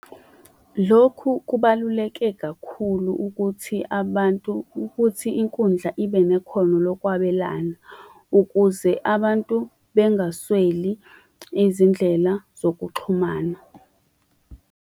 Lokhu kubaluleke kakhulu ukuthi abantu ukuthi inkundla ibe nekhono lokwabelana ukuze abantu bengasweli izindlela zokuxhumana.